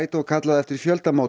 Guaidó kallað eftir